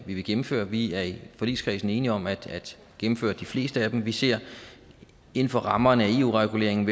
vi vil gennemføre vi er i forligskredsen enige om at gennemføre de fleste af dem vi ser inden for rammerne af eu reguleringen